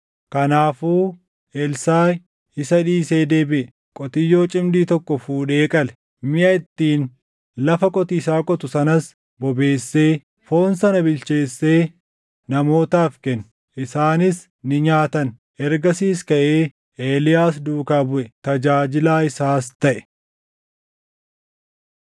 Kanaafuu Elsaaʼi isa dhiisee deebiʼe. Qotiyyoo cimdii tokkoo fuudhee qale. Miʼa ittiin lafa qotiisaa qotu sanas bobeessee foon sana bilcheessee namootaaf kenne; isaanis ni nyaatan. Ergasiis kaʼee Eeliyaas duukaa buʼe; tajaajilaa isaas taʼe.